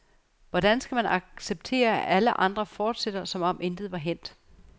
Hvordan skal man acceptere, at alle andre fortsætter, som om intet var hændt.